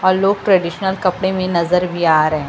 और लोग ट्रेडिशनल कपड़े में नजर भी आ रहे हैं।